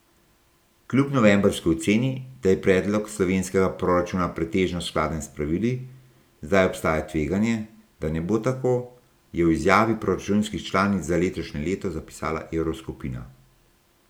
Kljub novembrski oceni, da je predlog slovenskega proračuna pretežno skladen s pravili, zdaj obstaja tveganje, da ne bo tako, je v izjavi o proračunih članic za letošnje leto zapisala evroskupina.